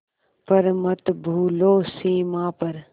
पर मत भूलो सीमा पर